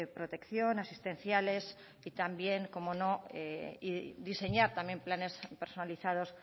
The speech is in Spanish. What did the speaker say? protección asistenciales y también cómo no diseñar también planes personalizados